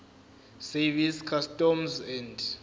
service customs and